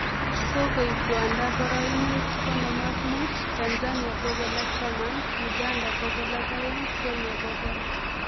Kikoib Rwanda poroinwek konom ak mut, Tanzania bogol ak taman, Uganda bogol ak aeng Kenya bogol